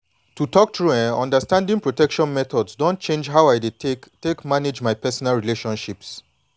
to talk true eh understanding protection methods don change how i dey take take manage my personal relationships.